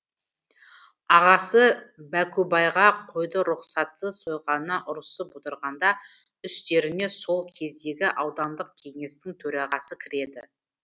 ағасы бәкубайға қойды рұқсатсыз сойғанына ұрысып отырғанда үстеріне сол кездегі аудандық кеңестің төрағасы кіреді